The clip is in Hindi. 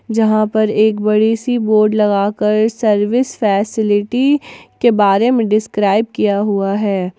जहां पर एक बड़ी सी बोर्ड लगाकर सर्विस फैसिलिटी के बारे में डिस्क्राइब किया हुआ है।